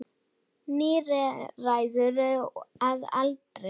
Níræður að aldri.